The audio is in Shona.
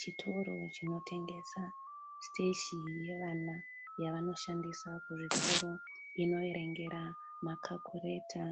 Chitoro chinotengesa siteshenari yevana yavanoshandisa kuzvikoro inoverengera makakureta